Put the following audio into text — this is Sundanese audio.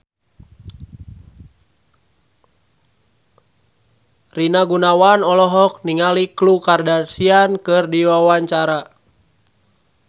Rina Gunawan olohok ningali Khloe Kardashian keur diwawancara